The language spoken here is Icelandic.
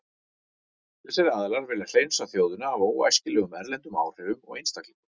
Þessir aðilar vilja hreinsa þjóðina af óæskilegum erlendum áhrifum og einstaklingum.